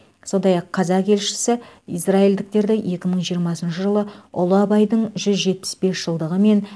сондай ақ қазақ елшісі израильдіктерді екі мың жиырмасыншы жылы ұлы абайдың жүз жетпіс бес жылдығы мен